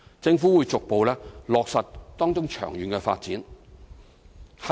政府會逐步落實當中的長遠發展。